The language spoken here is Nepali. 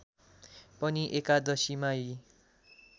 पनि एकादशीमा यी